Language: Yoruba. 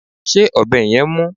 Ṣé ọ̀bẹ yẹn mú?